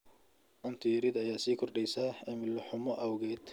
Cunto yarida ayaa sii kordheysa cimilo xumo awgeed.